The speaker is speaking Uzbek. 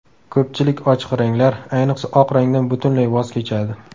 Ko‘pchilik ochiq ranglar, ayniqsa oq rangdan butunlay voz kechadi.